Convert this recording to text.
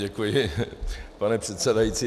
Děkuji, pane předsedající.